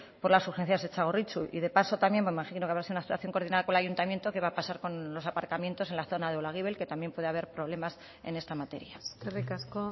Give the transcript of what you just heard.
por las urgencias de txagorritxu y de paso también me imagino que habrá sido una actuación coordinada con el ayuntamiento qué va a pasar con los aparcamientos en la zona de olaguibel que también puede haber problemas en esta materia eskerrik asko